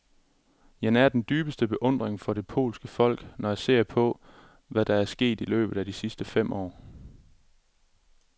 Jeg nærer den dybeste beundring for det polske folk, når jeg ser på, hvad der er sket i løbet af de sidste fem år.